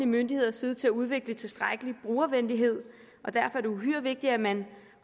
myndigheders side til at udvikle tilstrækkelig brugervenlighed og derfor er det uhyre vigtigt at man